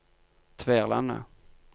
Tverlandet